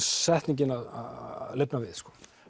setningin að lifna við